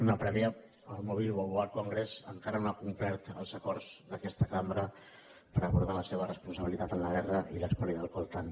una prèvia el mobile world congress encara no ha complert els acords d’aquesta cambra per abordar la seva responsabilitat en la guerra i l’espoli del coltan